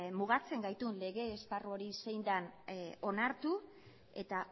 mugatzen gaitun lege esparru hori zein den onartu eta